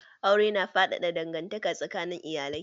Aure na faɗaɗa dangantaka tsakanin iyalai.